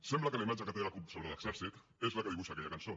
sembla que la imatge que té la cup sobre l’exèrcit és la que dibuixa aquella cançó